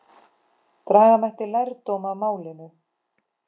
Draga mætti lærdóm af málinu.